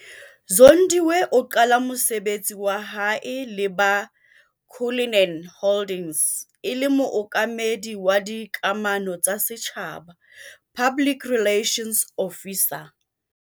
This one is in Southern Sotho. Zondiwe a qala mosebetsi wa hae le ba Cullinan Holdings e le Mookamedi wa Dikamano tsa Setjhaba, Public Relations Officer.